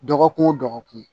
Dɔgɔkun o dɔgɔkun